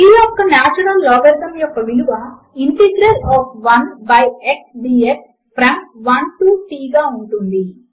t యొక్క natural logarithm యొక్క విలువ integral of 1 by x dx from 1 to t గా ఉంటుంది